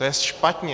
To je špatně!